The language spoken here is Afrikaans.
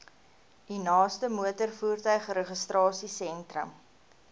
u naaste motorvoertuigregistrasiesentrum